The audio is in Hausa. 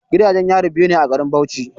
Gidajen yari biyu ne a garin Bauchi.